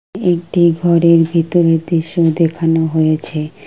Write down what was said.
একটি ঘরের ভিতরের দৃশ্য দেখানো হয়েছে।